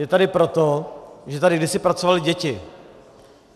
Je tady proto, že tady kdysi pracovaly děti.